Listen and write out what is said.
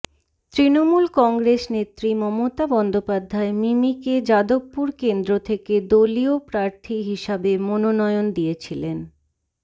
তৃণমূল কংগ্রেসনেত্রী মমতা বন্দোপাধ্যায় মিমিকে যাদবপুর কেন্দ্র থেকে দলীয় প্রার্থী হিসাবে মনোনয়ন দিয়েছিলেন